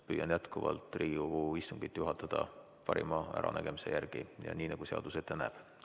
Püüan jätkuvalt Riigikogu istungit juhatada parima äranägemise järgi ja nii, nagu seadus ette näeb.